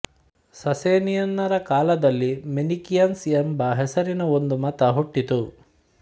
ಸಸೇನಿಯನ್ನರ ಕಾಲದಲ್ಲಿ ಮೆನಿಕಿಯನ್ಸ್ ಎಂಬ ಹೆಸರಿನ ಒಂದು ಮತ ಹುಟ್ಟಿತು